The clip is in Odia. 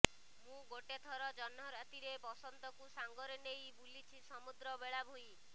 ମୁଁ ଗୋଟେ ଥର ଜହ୍ନରାତିରେ ବସନ୍ତକୁ ସାଙ୍ଗରେ ନେଇ ବୁଲିଚି ସମୁଦ୍ର ବେଳାଭୂଇଁ